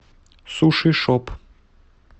сушишоп